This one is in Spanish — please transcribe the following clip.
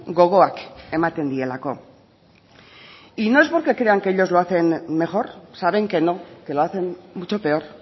gogoak ematen dielako no es porque crean que ellos lo hacen mejor saben que no que lo hacen mucho peor